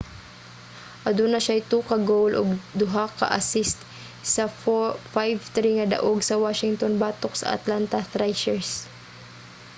aduna siyay 2 ka goal ug 2 ka assist sa 5-3 nga daog sa washington batok sa atlanta thrashers